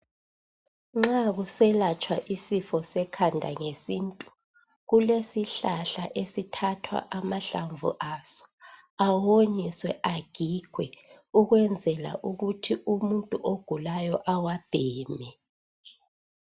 Nxa kuselatshwa isifo sekhanda ngesintu kulesihlahla okuthathwa amahlamvu aso awonyiswe agigwe ukwenzela ukuthi umuntu ogulayo awabheme.